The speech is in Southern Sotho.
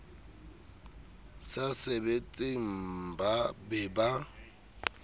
sa sebetseng mmba be ba